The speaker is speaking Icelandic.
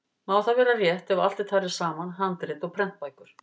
Má það vera rétt ef allt er talið saman, handrit og prentbækur.